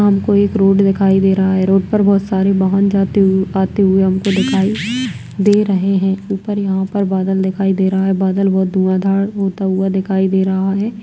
हमको एक रोड़ दिखाई दे रहा है रोड़ पर बोहोत सारे भवन जाते हुए आते हुए हमको दिखाई दे रहें हैं ऊपर यहाँ पर बादल दिखाई दे रहा है बादल बहोत धुआँधार होता हुआ दिखाई दे रहा है ।